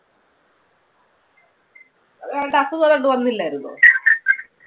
ഏതാണ്ട് അസുഖം ഏതാണ്ട് വന്നില്ലായിരുന്നോ.